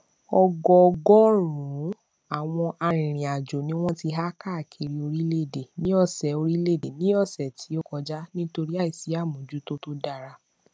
ọgọọgọrùnún àwọn arìnrìnàjò ni wọn ti há káàkiri orílẹèdè ní ọsẹ orílẹèdè ní ọsẹ tó kọjá nítorí àìsí àmójútó tó dára